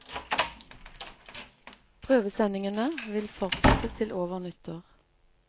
Prøvesendingene vil fortsette til over nyttår.